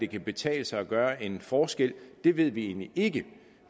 kan betale sig at gøre en forskel det ved vi egentlig ikke